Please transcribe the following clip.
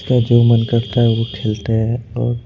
का जो मन करता है वो खेलते हैं औ--